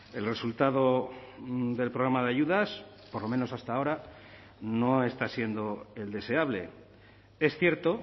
el resultado del programa de ayudas por lo menos hasta ahora no está siendo el deseable es cierto